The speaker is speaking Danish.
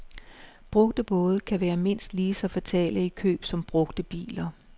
Brugte både kan være mindst lige så fatale i køb som brugte biler.